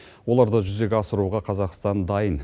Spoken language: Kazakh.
оларды жүзеге асыруға қазақстан дайын